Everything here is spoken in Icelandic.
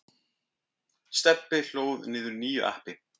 Stebbi hlóð niður nýju appi.